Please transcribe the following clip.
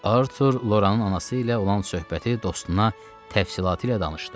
Artur Loranın anası ilə olan söhbəti dostuna təfsilatı ilə danışdı.